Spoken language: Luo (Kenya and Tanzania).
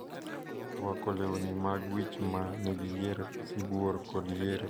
Orwako lewni mag wich ma nigi yier sibuor kod yier winyo mar ostrich.